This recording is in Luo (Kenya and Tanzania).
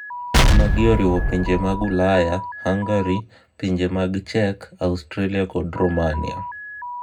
Magi oriwo pinje mag Ulaya, Hungary, Pinje mag Czech, Austria kod Rumania.